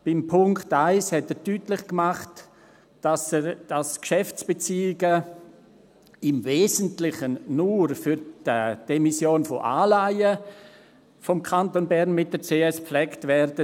Bei Punkt 1 hat er deutlich gemacht, dass Geschäftsbeziehungen des Kantons Bern mit der CS «im Wesentlichen» nur für die Emission von Anleihen gepflegt werden.